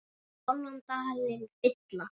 hálfan dalinn fylla